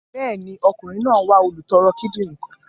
Bẹ́ẹ̀ ni, ọkùnrin náà ń wá olùtọrẹ kidinrin kan.